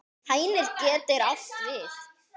Hænir getur átt við